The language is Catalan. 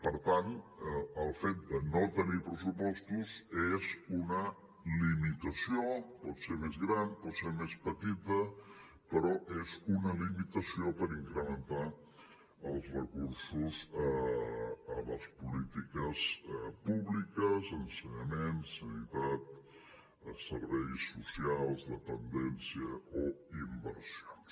per tant el fet de no tenir pressupostos és una limitació pot ser més gran por ser més petita però és una limitació per incrementar els recursos a les polítiques públiques ensenyament sanitat serveis socials dependència o inversions